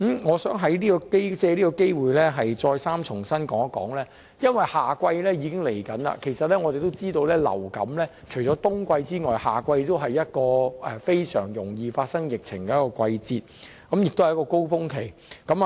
我想藉這個機會再三表示，因為夏季將至，我們知道除了冬季外，夏季也是一個很容易爆發流感疫情的季節，是另一個高峰期。